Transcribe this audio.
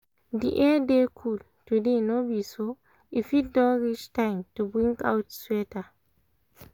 the air dey cool today no be so? e fit don reach time to bring out sweater